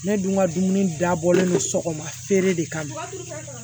Ne dun ka dumuni dabɔlen don sɔgɔma feere de kama